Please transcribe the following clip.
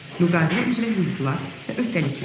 Müqavilə üzrə hüquqlar və öhdəliklər.